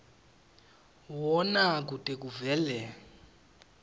wona kute kuvele